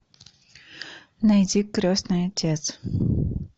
найди крестный отец